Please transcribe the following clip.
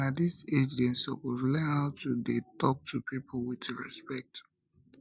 na dis age dem suppose learn how to dey tok to pipo wit respect